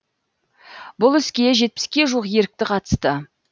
бұл іске жетпіске жуық ерікті қатысты